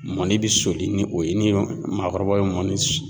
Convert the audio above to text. Mɔni bɛ soli ni o yen ni maakɔrɔbaw ye mɔni soni